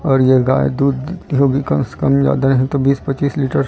और ये गाय दूध देती होगी कम से कम ज्यादा नहीं तो बीस पच्चीस लीटर --